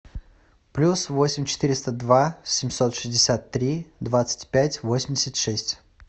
плюс восемь четыреста два семьсот шестьдесят три двадцать пять восемьдесят шесть